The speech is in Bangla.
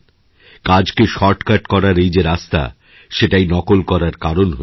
কাজকে শর্ট কাট করার এই যে রাস্তা সেটাই নকল করারকারণ হয়ে যায়